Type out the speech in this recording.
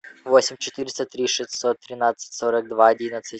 восемь четыреста три шестьсот тринадцать сорок два одиннадцать